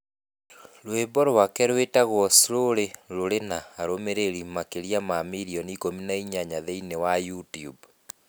Rwĩmbo rwake rwĩtagwo Slowly rũrĩ na arũmĩrĩri makĩria ma milioni 18 thĩinĩ wa YouTube.